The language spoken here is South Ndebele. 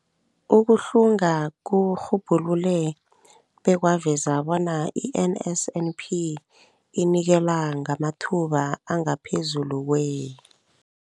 Ukuhlunga kurhubhulule bekwaveza bona i-NSNP inikela ngamathuba angaphezulu kwe-